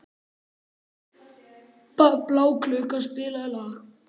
Bláklukka, spilaðu lag.